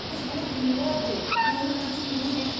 Biz bunu illərdir görürük, bilirik.